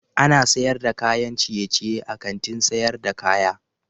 Ana sayar da kayan ciyeciye a Kantin sayar da kaya.